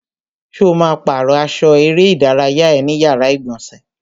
Ṣo ma pàrọ́ aṣọ eré ìdárayá ẹ ní yàrá ìgbọ̀nsẹ̀?